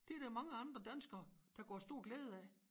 Det der mange andre danskere der kunne have stor glæde af